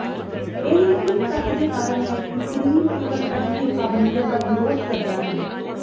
ਇਹ ਇਸ ਤੱਥ ਦੇ ਕਾਰਨ ਹੈ ਕਿ ਸਰੀਰ ਕੇਵਲ ਅਜਿਹੇ ਪਾਬੰਦੀਆਂ ਦਾ ਵਿਰੋਧ ਕਰਦਾ ਹੈ